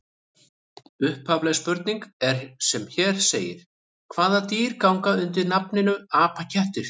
Upphafleg spurning er sem hér segir: Hvaða dýr ganga undir nafninu apakettir?